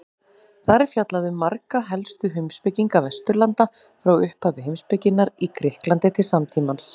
Þar er fjallað um marga helstu heimspekinga Vesturlanda frá upphafi heimspekinnar í Grikklandi til samtímans.